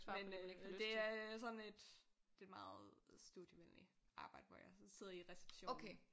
Men øh det er øh sådan et det er et meget studievenligt arbejde hvor jeg sådan sidder i receptionen